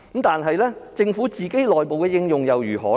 但是，政府內部的應用又如何呢？